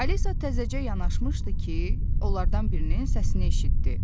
Alisa təzəcə yanaşmışdı ki, onlardan birinin səsini eşitdi.